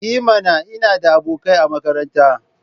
I mana! Ina da abokai a makaranta.